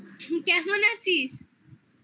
কেমন আছিস?